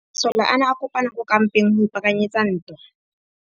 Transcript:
Masole a ne a kopane kwa kampeng go ipaakanyetsa ntwa.